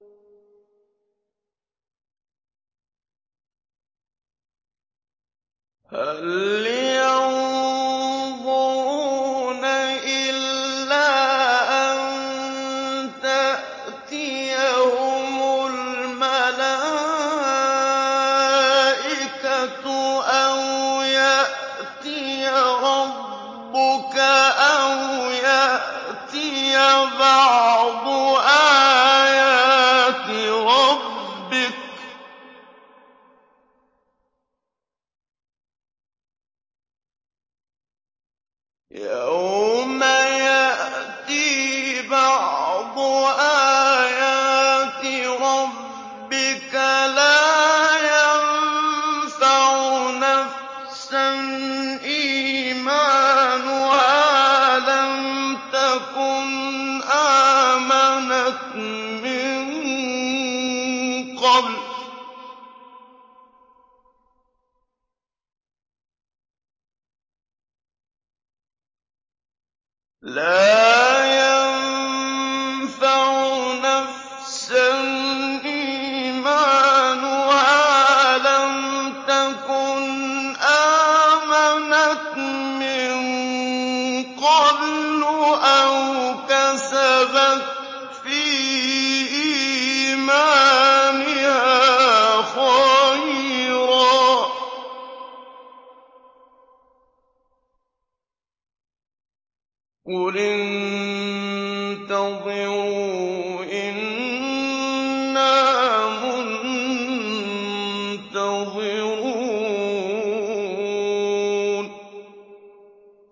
هَلْ يَنظُرُونَ إِلَّا أَن تَأْتِيَهُمُ الْمَلَائِكَةُ أَوْ يَأْتِيَ رَبُّكَ أَوْ يَأْتِيَ بَعْضُ آيَاتِ رَبِّكَ ۗ يَوْمَ يَأْتِي بَعْضُ آيَاتِ رَبِّكَ لَا يَنفَعُ نَفْسًا إِيمَانُهَا لَمْ تَكُنْ آمَنَتْ مِن قَبْلُ أَوْ كَسَبَتْ فِي إِيمَانِهَا خَيْرًا ۗ قُلِ انتَظِرُوا إِنَّا مُنتَظِرُونَ